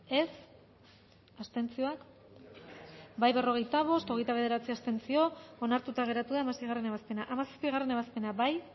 dezakegu bozketaren emaitza onako izan da hirurogeita hamalau eman dugu bozka berrogeita bost boto aldekoa hogeita bederatzi abstentzio onartuta geratu da hamaseigarrena ebazpena hamazazpigarrena ebazpena bozkatu